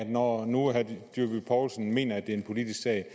når nu herre dyrby paulsen mener at det er en politisk sag